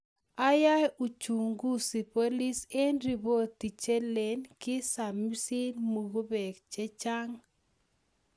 Ae uchunguzi polis eng ripot chelen kisamisit mukebek chechang.